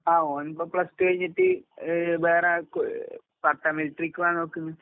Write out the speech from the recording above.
ആഹ് ഓനിപ്പോ plus two കഴിഞ്ഞിട്ട് ഏ വേറാർക്കോ പട്ടാ മിലിട്രിക്ക് പോകാൻ നോക്ക്ന്ന്.